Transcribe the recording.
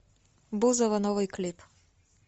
бузова новый клип